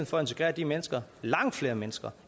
for at integrere de mennesker langt flere mennesker